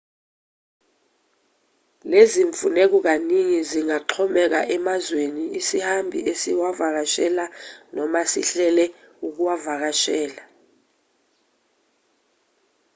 lezimfuneko kaningi zingaxhomeka emazweni isihambi esiwavakashele noma esihlele ukuwavakashela